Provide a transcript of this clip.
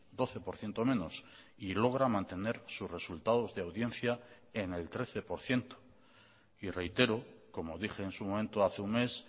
doce por ciento menos y logra mantener sus resultados de audiencia en el trece por ciento y reitero como dije en su momento hace un mes